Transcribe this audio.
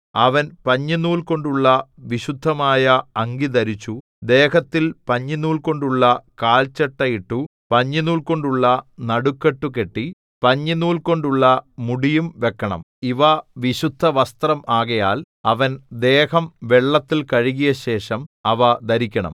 അവൻ പഞ്ഞിനൂൽ കൊണ്ടുള്ള വിശുദ്ധമായ അങ്കി ധരിച്ചു ദേഹത്തിൽ പഞ്ഞിനൂൽ കൊണ്ടുള്ള കാൽചട്ട ഇട്ടു പഞ്ഞിനൂൽ കൊണ്ടുള്ള നടുക്കെട്ടു കെട്ടി പഞ്ഞിനൂൽ കൊണ്ടുള്ള മുടിയും വെക്കണം ഇവ വിശുദ്ധവസ്ത്രം ആകയാൽ അവൻ ദേഹം വെള്ളത്തിൽ കഴുകിയശേഷം അവ ധരിക്കണം